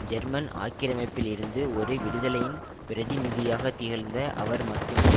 German ஆக்கிரமிப்பில் இருந்து ஒரு விடுதலையின் பிரதிநிதியாக திகழ்ந்த அவர் மட்டுமே